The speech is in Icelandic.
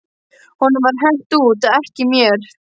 Honum var hent út, ekki mér.